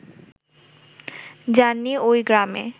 যান নি ওই গ্রামে